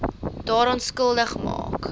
daaraan skuldig maak